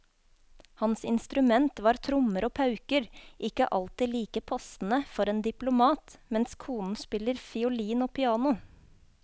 Hans instrument var trommer og pauker, ikke alltid like passende for en diplomat, mens konen spiller fiolin og piano.